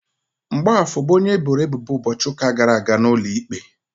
Mgbafor bụ onye eboro ebubo ụbọchị ụka gara aga n'ụlọikpe.